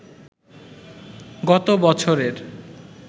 গত বছরের